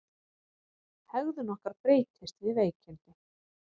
Hegðun okkar breytist við veikindi.